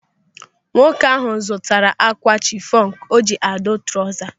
Nwoke ahụ zụrụ ákwà chinos o ji adụ trauza.